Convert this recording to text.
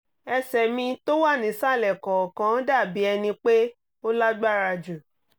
ẹsẹ̀ mi tó wà nísàlẹ̀ kọ̀ọ̀kan dà bí ẹni pé ó lágbára jù